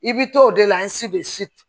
I bi to o de la i si bɛ si